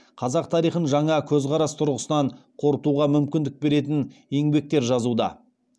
қазақ тарихын жаңа көзқарас тұрғысынан қорытуға мүмкіндік беретін еңбектер жазуда